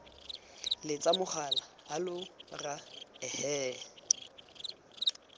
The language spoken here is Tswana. letsa mogala hallow rra ehe